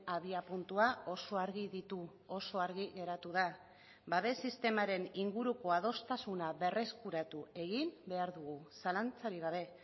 abiapuntua oso argi ditu oso argi geratu da babes sistemaren inguruko adostasuna berreskuratu egin behar dugu zalantzarik gabe